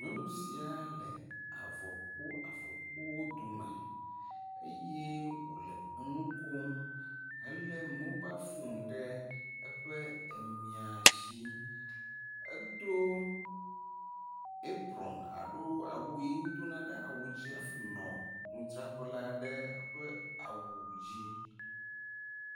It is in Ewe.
Nyɔnu sia le avɔkpoavɔkpowo dome eye wo le enu kom hele mobal foni ɖe eƒe emaisi. Edo aprɔn alo awu si wdona ɖe awu dzi hafi nɔ nudzraƒe la ɖe awu dzi.